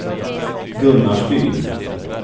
Gunnarsbyn